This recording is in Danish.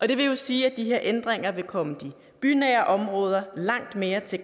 det vil jo sige at de her ændringer vil komme de bynære områder langt mere til